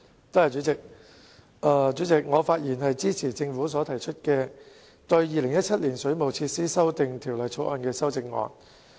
代理主席，我發言支持政府對《2017年水務設施條例草案》提出的修正案。